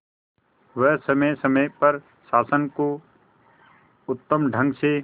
वह समय समय पर शासन को उत्तम ढंग से